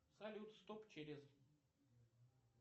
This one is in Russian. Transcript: салют стоп через